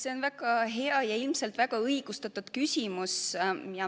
See on väga hea ja ilmselt väga õigustatud küsimus.